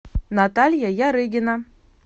наталья ярыгина